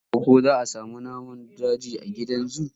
Nan gaba ko za sami namun daji a gidan zu?